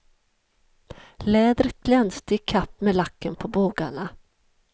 Lädret glänste i kapp med lacken på bågarna.